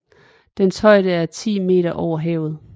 Dens højde er 10 meter over havet